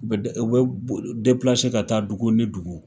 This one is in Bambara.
Bɛ de o bɛ ka taa dugu ni dugu,